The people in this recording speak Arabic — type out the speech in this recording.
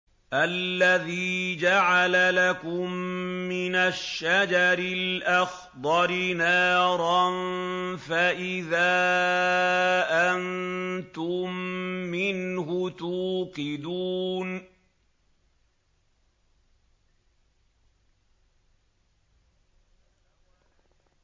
الَّذِي جَعَلَ لَكُم مِّنَ الشَّجَرِ الْأَخْضَرِ نَارًا فَإِذَا أَنتُم مِّنْهُ تُوقِدُونَ